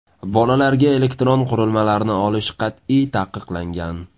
Bolalarga elektron qurilmalarni olish qat’iy taqiqlangan.